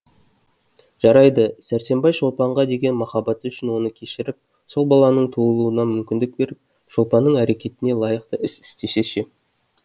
жарайды сәрсенбай шолпанға деген махаббаты үшін оны кешіріп сол баланың туылуына мүмкіндік беріп шолпанның әрекетіне лайық іс істесе ше